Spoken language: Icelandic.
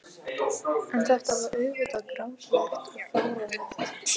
En þetta var auðvitað grátlegt og fáránlegt.